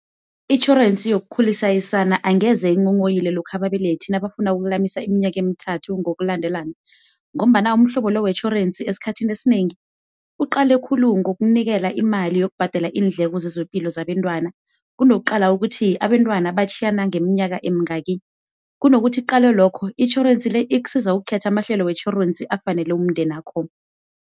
Itjhorensi yokukhulisa isana angeze inghonghoyilo lokha ababelethi abafuna ukulamisa iminyaka emithathu ngokulandelana ngombana umhlobo lo wetjhorensi esikhathini esinengi uqale khulu ngokunikela imali yokubhadela iindleko zezepilo zabentwana, kunokuqala ukuthi abentwana batjhiyana ngeminyaka emingaki. Kunokuthi uqalwe lokho, itjhorensi ikusiza ukukhetha amahlelo wetjhorensi afanele umndenakho.